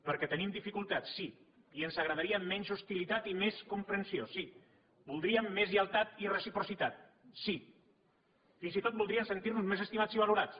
perquè tenim dificultats sí i ens agradaria menys hostilitat i més comprensió sí voldríem més lleialtat i reciprocitat sí fins i tot voldríem sentirnos més estimats i valorats